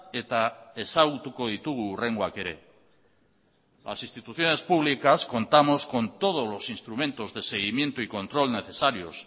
eta ezagutuko ditugu hurrengoak ere las instituciones públicas contamos con todos los instrumentos de seguimiento y control necesarios